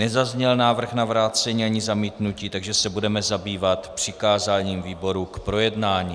Nezazněl návrh na vrácení ani zamítnutí, takže se budeme zabývat přikázáním výborům k projednání.